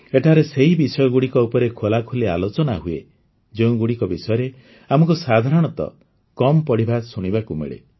ଏଠାରେ ସେହି ବିଷୟଗୁଡ଼ିକ ଉପରେ ଖୋଲାଖୋଲି ଆଲୋଚନା ହୁଏ ଯେଉଁଗୁଡ଼ିକ ବିଷୟରେ ଆମକୁ ସାଧାରଣତଃ କମ୍ ପଢ଼ିବା ଶୁଣିବାକୁ ମିଳେ